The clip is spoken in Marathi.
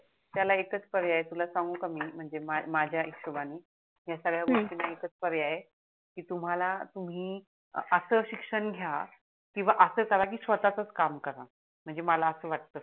त्याला एकच पर्याय आहे तुला सांगू का मी म्हणजे माझ्या हिसोबाणी हाय संगड्या गोष्टीन एकच पर्याय आहे की तुम्हाला तुम्ही अस शिक्षण घ्या किवा अस करा की स्वतच काम करा म्हणजे मला अस वाटत